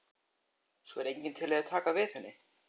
Svo er enginn til að taka við henni.